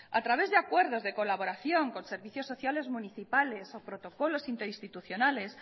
a través de acuerdo de colaboración con servicios sociales municipales o protocolos interinstitucionales